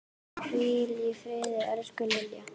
Hvíl í friði, elsku Lilla.